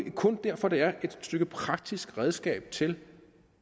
derfor det er et stykke praktisk redskab til